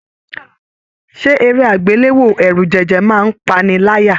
Ṣe eré agbelewo ẹrujẹjẹ máa n pa'ni láyà?